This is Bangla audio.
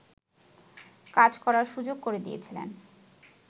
কাজ করার সুযোগ করে দিয়েছিলেন